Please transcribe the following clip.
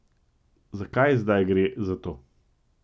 Zakaj zdaj gre za to?